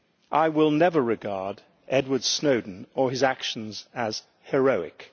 I will never regard Edward Snowden or his actions as heroic'.